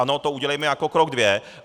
Ano, to udělejme jako krok dvě.